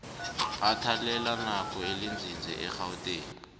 athelelanako elinzinze egauteng